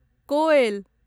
कोएल